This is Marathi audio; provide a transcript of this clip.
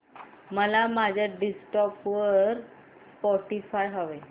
मला माझ्या डेस्कटॉप वर स्पॉटीफाय हवंय